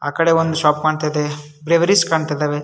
ಆ ಕಡೆ ಒಂದು ಶಾಪ್ ಕಾಣ್ತಾ ಇದೆ ಕಾಣ್ತಾ ಇದ್ದವೇ.